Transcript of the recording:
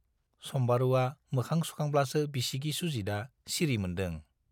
सम्बारुवा मोखां सुखांब्लासो बिसिगि सुजितआ सिरि मोन्दों।